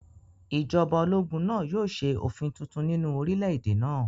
Ìjọba ológun náà yóò ṣe òfin tuntun nínú orílẹ̀-èdè náà